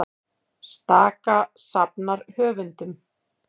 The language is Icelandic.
Staka safnar höfundum